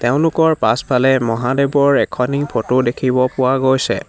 তেওঁলোকৰ পাছফালে মহাদেৱৰ এখনি ফটো দেখিব পোৱা গৈছে।